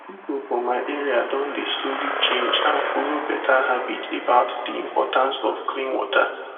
people for my area don dey slowly change and follow better habit about the importance of clean water